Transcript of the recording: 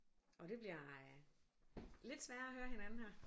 Og det bliver øh lidt sværere at høre hinanden her